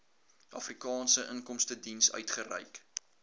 afrikaanse inkomstediens uitgereik